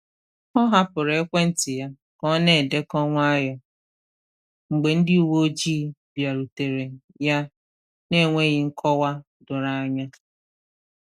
Ọ hapụrụ ekwentị ya ka ọ na-edekọ nwayọọ mgbe ndị uwe ojii bịarutere ya n’enweghị nkọwa doro anya.